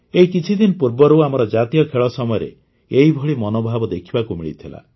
ଏହି କିଛିଦିନ ପୂର୍ବରୁ ଆମର ଜାତୀୟ ଖେଳ ସମୟରେ ଏହିଭଳି ମନୋଭାବ ଦେଖିବାକୁ ମିଳିଥିଲା